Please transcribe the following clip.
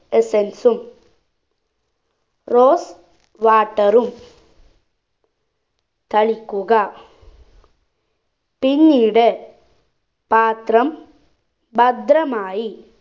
essence ഉം rose water ഉം തളിക്കുക പിന്നീട് പാത്രം ഭദ്രമായി